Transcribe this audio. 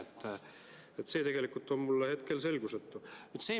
See on mulle tegelikult hetkel selgusetu.